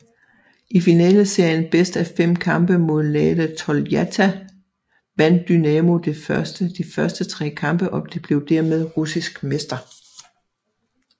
I finaleserien bedst af fem kampe mod Lada Toljatti vandt Dynamo de første tre kampe og blev dermed russisk mester